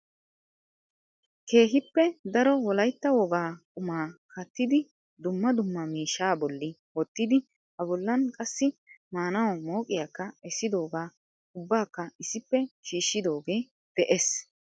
Keehippe daro Wolaytta wogaa qumaa kattidi dumma dumma miishsha bolli wottidi a bollan qassi maanawu mooqqiyaakka essidooga ubbakka issippe shiishshidooge de'ees.